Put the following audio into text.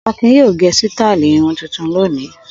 Akin yóò gẹ sítáálì irun tuntun lónìí.